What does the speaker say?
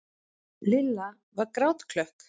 Lilla var grátklökk.